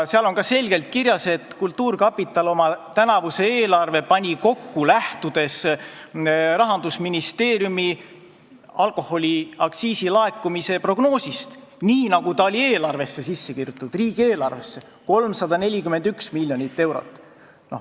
Seal on selgelt kirjas, et kultuurkapital pani oma tänavuse eelarve kokku, lähtudes Rahandusministeeriumi alkoholiaktsiisi laekumise prognoosist, nii nagu see oli riigieelarvesse kirjutatud – 341 miljonit eurot.